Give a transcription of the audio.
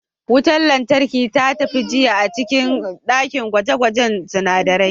Wutar lantarki ta tafi jiya a cikin dakin gwaje-gwajen sunadarai